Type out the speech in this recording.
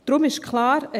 Daher ist klar: